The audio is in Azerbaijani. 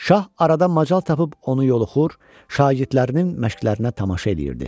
Şah aradan macal tapıb onu yoluxur, şagirdlərinin məşqlərinə tamaşa eləyirdi.